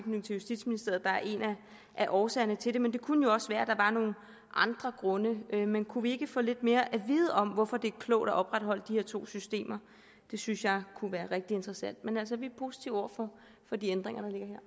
justitsministeriet der er en af årsagerne til det men det kunne jo også være at der var nogle andre grunde men kunne vi ikke få lidt mere at vide om hvorfor det er klogt at opretholde de her to systemer det synes jeg kunne være rigtig interessant men altså vi er positive over for de ændringer